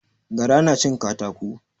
Gara na cin katako